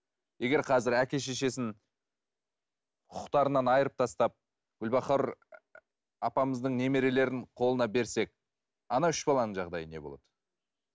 егер қазір әке шешесін құқықтарынан айырып тастап гүлбахор апамыздың немерелерін қолына берсек ана үш баланың жағдайы не болады